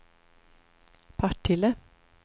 Partille